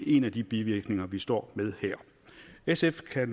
en af de bivirkninger vi står med her sf kan